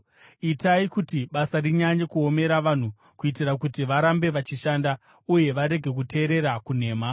Itai kuti basa rinyanye kuomera vanhu kuitira kuti varambe vachishanda uye varege kuteerera kunhema.”